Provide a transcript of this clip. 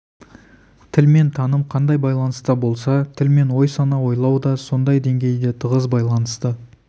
тіл мен таным қандай байланыста болса тіл мен ой-сана ойлау да сондай деңгейде тығыз байланысты